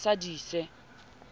ne a ye a sadise